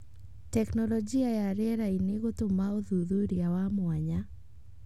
Tekinoroji ya rĩera-inĩ gũtũma ũthuthuria wa mwanya.